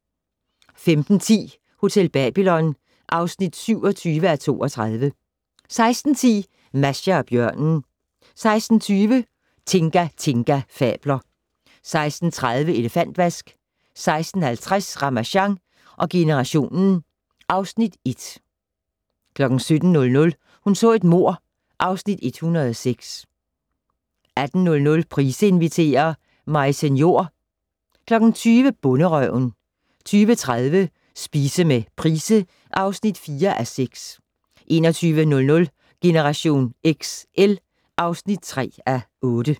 15:10: Hotel Babylon (27:32) 16:10: Masha og bjørnen 16:20: Tinga Tinga fabler 16:30: Elefantvask 16:50: Ramasjang generationen (Afs. 1) 17:00: Hun så et mord (Afs. 106) 18:00: Price inviterer - Maise Njor 20:00: Bonderøven 20:30: Spise med Price (4:6) 21:00: Generation XL (3:8)